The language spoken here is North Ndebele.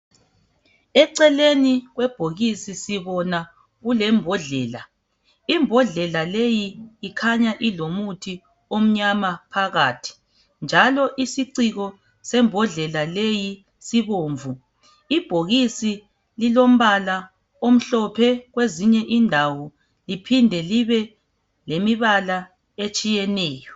Eceleni kwebhokisi sibona kulembodlela. Imbodlela leyi ikhanya ilomuthi omnyama phakathi njalo isiciko sembodlela leyi sibomvu. Ibhokisi lilombala omhlophe kwezinye indawo liphinde libe lemibala etshiyeneyo.